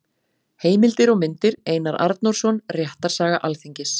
Heimildir og myndir: Einar Arnórsson: Réttarsaga Alþingis.